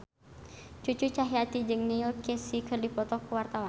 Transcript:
Cucu Cahyati jeung Neil Casey keur dipoto ku wartawan